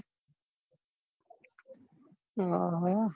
હમ